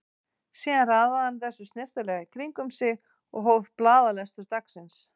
Síðan raðaði hann þessu snyrtilega í kring um sig og hóf blaðalestur dagsins.